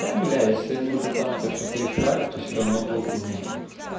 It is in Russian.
да бля если они уже там это все порешали то все равно толку нету